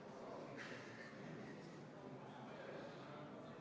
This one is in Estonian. Majanduskomisjon valmistas eelnõu teist lugemist ette kokku kahel korral: 21. oktoobril ja 4. novembril.